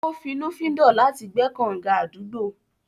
Ó finnúfíndọ̀ láti gbẹ́ kànǹga àdúgbò.